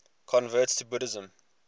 converts to buddhism